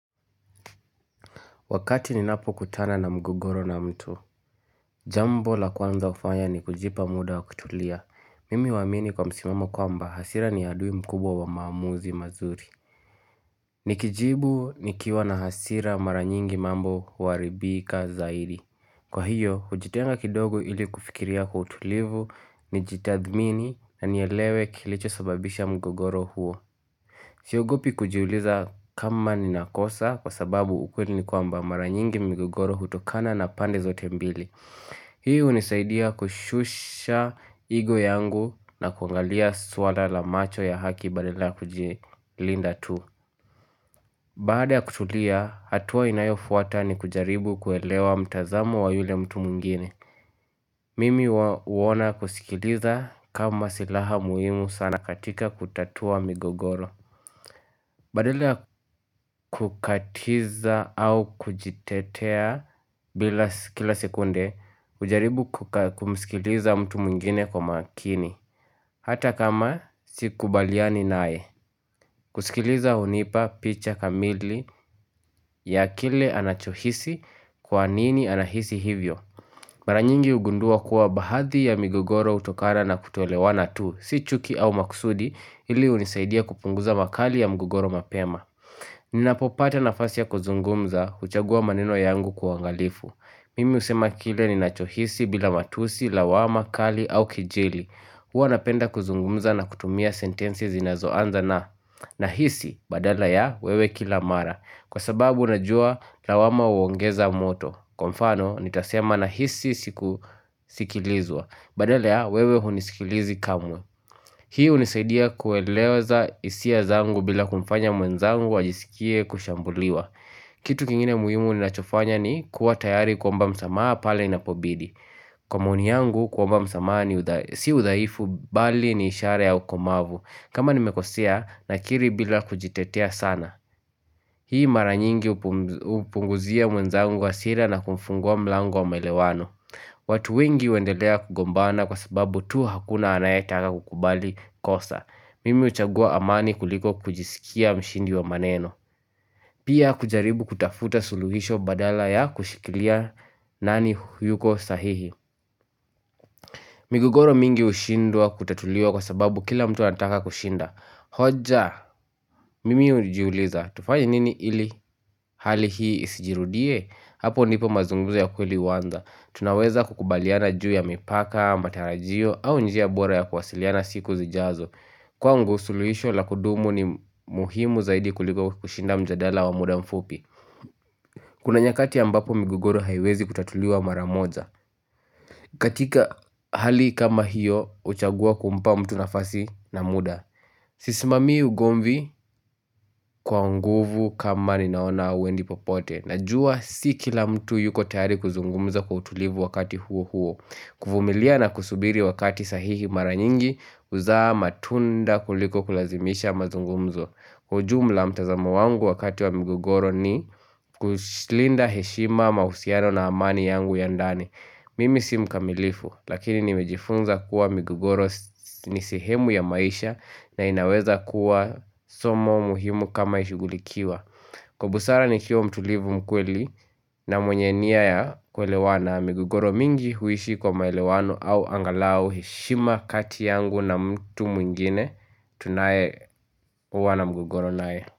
Wakati ninapokutana na mgogoro na mtu, jambo la kwanza hufanya ni kujipa muda wa kutulia. Mimi huamini kwa msimamo kwamba hasira ni adui mkubwa maamuzi mazuri. Nikijibu nikiwa na hasira mara nyingi mambo huharibika zaidi. Kwa hiyo, hujitenga kidogo ili kufikiria kwa utulivu nijitadhmini nanielewe kilichosababisha mgogoro huo. Siogopi kujiuliza kama nina kosa kwa sababu ukweli ni kwamba mara nyingi migogoro hutokana na pande zote mbili. Hii hunisaidia kushusha ego yangu na kuangalia swala la macho ya haki badala ya kujilinda tu. Baada ya kutulia, hatua inayofuata ni kujaribu kuelewa mtazamo wa yule mtu mwingine. Mimi huona kusikiliza kama silaha muhimu sana katika kutatua migogoro. Badala ya kukatiza au kujitetea kila sekunde hujaribu kumskiliza mtu mwingine kwa makini Hata kama sikubaliani nae kusikiliza hunipa picha kamili ya kile anachohisi kwa nini anahisi hivyo Mara nyingi hugundua kuwa baadhi ya mgugoro hutokana na kutolewana tu si chuki au maksudi ili hunisaidia kupunguza makali ya mgogoro mapema Ninapopata nafasi ya kuzungumza huchagua maneno yangu kwa uangalifu Mimi husema kile ninachohisi bila matusi, lawama, kali au kijeli Huwa napenda kuzungumza na kutumia sentensi zinazoanza na Nahisi badala ya wewe kila mara Kwa sababu najua lawama huongeza moto Kwa mfano nitasema nahisi siku sikilizwa Badala ya wewe hunisikilizi kamwe Hii hunisaidia kueleza hisia zangu bila kumfanya mwenzangu ajisikie kushambuliwa. Kitu kingine muhimu ninachofanya ni kuwa tayari kuomba msamaha pale inapobidi. Kwa maoni yangu kuomba msamaha ni si udhaifu bali ni ishara ya ukomavu. Kama nimekosea nakiri bila kujitetea sana. Hii mara nyingi hupunguzia mwenzangu hasira na kumfungua mlango wa maelewano. Watu wengi huendelea kugombana kwa sababu tu hakuna anayetaka kukubali kosa. Mimi huchagua amani kuliko kujisikia mshindi wa maneno. Pia kujaribu kutafuta suluhisho badala ya kushikilia nani hayuko sahihi. Migogoro mingi hushindwa kutatuliuwa kwa sababu kila mtu anataka kushinda hoja mimi hujiuliza tufanya nini ili hali hii isijirudie Hapo ndipo mazungumzo ya kweli huanza Tunaweza kukubaliana juu ya mipaka, matarajio au njia bora ya kuwasiliana siku zijazo Kwangu suluisho la kudumu ni muhimu zaidi kuliko kushinda mjadala wa muda mfupi Kuna nyakati ambapo migogoro haiwezi kutatuliuwa mara moja katika hali kama hiyo huchagua kumpa mtu nafasi na muda Sisimamii ugomvi kwa nguvu kama ninaona hauendi popote Najua si kila mtu yuko tayari kuzungumza kwa utulivu wakati huo huo kuvumilia na kusubiri wakati sahihi mara nyingi huzaa matunda kuliko kulazimisha mazungumzo kwa ujumla mtazama wangu wakati wa mgogoro ni kulinda heshima mahusiano na amani yangu ya ndani Mimi si mkamilifu lakini nimejifunza kuwa migogoro ni sehemu ya maisha na inaweza kuwa somo muhimu kama ishugulikiwa Kwa busara nikiwa mtulivu mkweli na mwenye nia ya kuelewana migogoro mingi huishi kwa maelewano au angalau heshima kati yangu na mtu mwingine tunayekuwa na mgogoro nae.